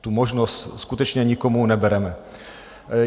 Tu možnost skutečně nikomu nebereme.